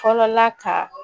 Fɔlɔla ka